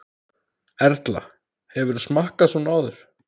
Erla: Hefurðu smakkað svona áður?